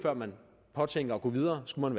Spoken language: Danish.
påtænker at gå videre skulle